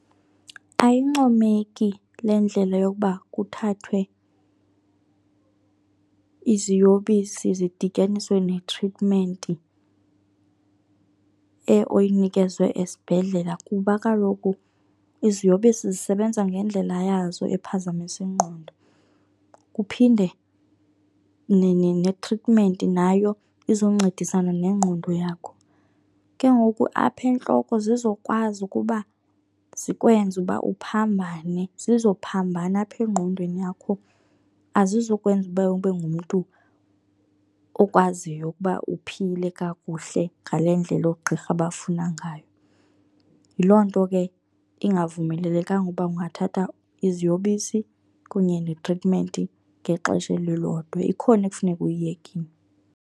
Ayincomeki le ndlela yokuba kuthathwe iziyobisi zidityaniswe netritimenti oyinikezwe esibhedlela kuba kaloku iziyobisi zisebenza ngendlela yazo ephazamisa ingqondo, kuphinde netritimenti nayo izoncedisana nengqondo yakho. Ke ngoku apha entloko zizokwazi ukuba zikwenze uba uphambane, zizophambana apha engqondweni yakho. Azizukwenza uba ube ngumntu okwaziyo ukuba uphile kakuhle ngale ndlela oogqirha abafuna ngayo. Yiloo nto ke ingavumelelekanga ukuba ungathatha iziyobisi kunye netritimenti ngexesha elilodwa, ikhona ekufuneka uyiyekile.